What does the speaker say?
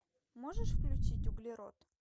можешь включить углерод